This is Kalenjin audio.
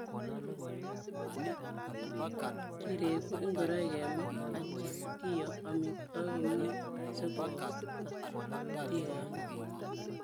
Kiregu ingoroik kemwet atcha kio amitwakik komie sikoonda cheptiganit.